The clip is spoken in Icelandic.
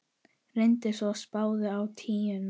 Renndi svo spaða á tíuna.